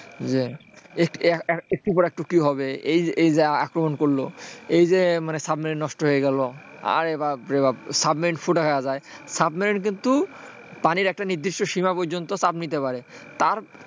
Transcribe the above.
একটির পর একটি কী হবে, এই যে আক্রমণ করল, এই যে সাবমেরিন নষ্ট হয়ে গেল, আরে বাপরে বাপ সাবমেরিন ফুটো হয়ে যায় সাবমেরিন কিন্তু পানির একটা নির্দিষ্ট সীমা পর্যন্ত চাপ নিতে পারে তার,